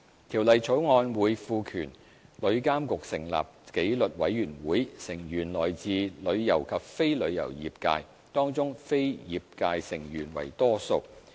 《條例草案》會賦權旅監局成立紀律委員會，成員來自旅遊及非旅遊業界，當中非業界成員為多數。